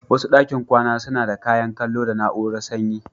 Wasu ɗakin kwana suna da kayan kallo da na'urar sanyi.